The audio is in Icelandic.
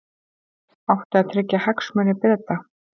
Átti að tryggja hagsmuni Breta